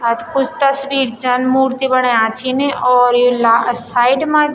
आज कुछ तस्वीर छन मूर्ति बण्यां छिन और यु ला साइड मा जू --